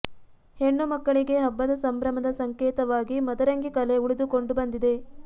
ಹೆಣ್ಣು ಮಕ್ಕಳಿಗೆ ಹಬ್ಬದ ಸಂಭ್ರಮದ ಸಂಕೇತವಾಗಿ ಮದರಂಗಿ ಕಲೆ ಉಳಿದುಕೊಂಡು ಬಂದಿದೆ